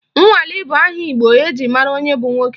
Nwali bụ aha Igbo eji mara onye bụ nwoke